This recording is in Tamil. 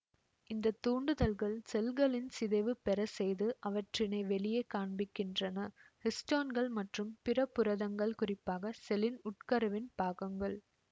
இந்த தூண்டுதல்கள் செல்களின் சிதைவு பெறசெய்து அவற்றினை வெளியே காண்பிக்கின்றன ஹிஸ்டோன்கள் மற்றும் பிற புரதங்கள் குறிப்பாக செல்லின் உட்கருவின் பாகங்கள்